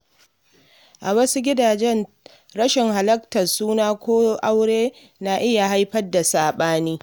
A wasu gidaje, rashin halartar suna ko aure na iya haifar da saɓani.